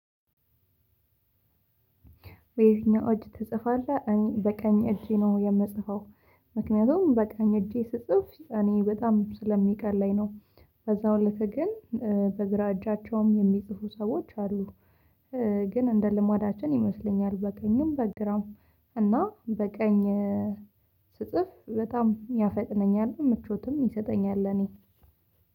በየትኛው እጅ ትጽፋለህ በቀኝ እጄ ነው የምጽፈው። ምክንያቱም በቃኝ እጄ ስጽፍ እኔ በጣም ስለሚቀለኝ ነው። በዛው እለት ግን በግራ እጃቸውም የሚጽፉ ሰዎች አሉ። ግን እንደ ልማዳችን ይመስለኛል በቀኝም በግራም እና በቀኝ። ስጽፍ በጣም ያፈጥነኛል ምቾትም ይሰጠኛል እኔ።